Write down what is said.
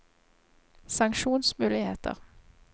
sanksjonsmuligheter